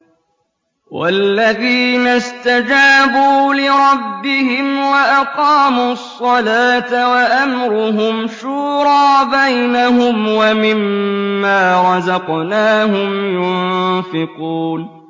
وَالَّذِينَ اسْتَجَابُوا لِرَبِّهِمْ وَأَقَامُوا الصَّلَاةَ وَأَمْرُهُمْ شُورَىٰ بَيْنَهُمْ وَمِمَّا رَزَقْنَاهُمْ يُنفِقُونَ